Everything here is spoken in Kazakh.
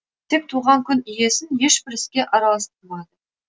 тек туған күн иесін ешбір іске араластырмады